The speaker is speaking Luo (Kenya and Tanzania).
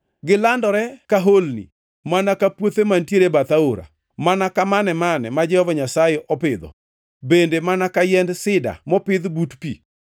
“Gilandore ka holni, mana ka puothe mantiere e bath aora, mana ka mane-mane ma Jehova Nyasaye opidho, bende mana ka yiend sida mopidh but pi.